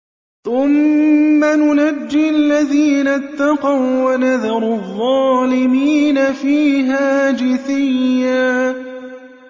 ثُمَّ نُنَجِّي الَّذِينَ اتَّقَوا وَّنَذَرُ الظَّالِمِينَ فِيهَا جِثِيًّا